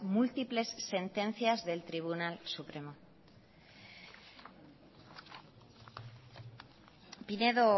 múltiples sentencias del tribunal supremo pinedo